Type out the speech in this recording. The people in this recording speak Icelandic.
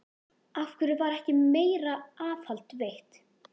Af hverju var ekki meira aðhald veitt?